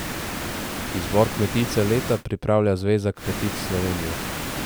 Izbor kmetice leta pripravlja Zveza kmetic Slovenije.